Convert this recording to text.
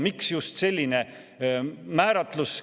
Miks just selline määratlus?